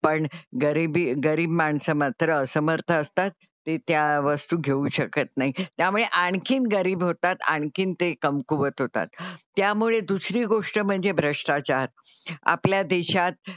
पण गरिबी गरीब माणसं मात्र असमर्थ असतात ते त्या वस्तू घेऊ शकत नाही. त्यामुळे आणखीन गरीब होतात आणखीन ते कमकुवत होतात. त्यामुळे दुसरी गोष्ट म्हणजे भ्रष्टाचार. आपल्या देशात,